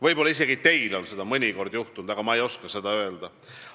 Võib-olla on isegi teil seda mõnikord juhtunud, ma ei oska seda öelda.